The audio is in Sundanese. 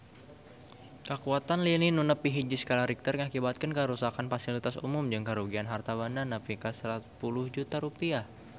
Kakuatan lini nu nepi hiji skala Richter ngakibatkeun karuksakan pasilitas umum jeung karugian harta banda nepi ka 10 juta rupiah